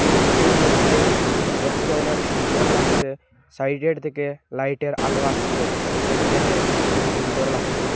রুমটির মইধ্যে দেখতে অনেক সুন্দর লাগছে সাইডের থেকে লাইটের আলো আসছে যেটি দেখে খুবই সুন্দর লাগছে।